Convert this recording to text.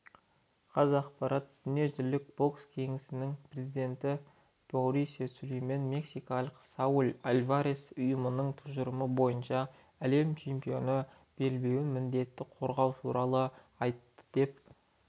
қазақпарат дүниежүзілік бокс кеңесінің президенті маурисио сулейман мексикалық сауль альварестің ұйымның тұжырымы бойынша әлем чемпионы белбеуін міндетті қорғауы туралы айтты деп